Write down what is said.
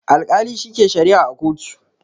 Alkali shi ke sharia a kotu